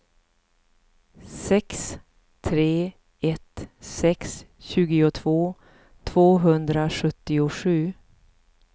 sex tre ett sex tjugotvå tvåhundrasjuttiosju